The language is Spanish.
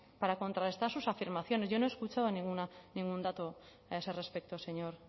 para contrarrestar sus afirmaciones yo no he escuchado ningún dato a ese respecto señor